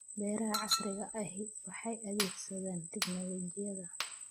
Beeraha casriga ahi waxay adeegsadaan tignoolajiyada.